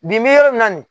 Bi bi in na nin